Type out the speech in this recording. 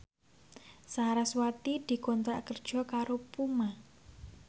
sarasvati dikontrak kerja karo Puma